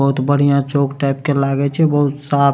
बहुत बढ़िया चौक टाइप के लागे छै बहुत साफ --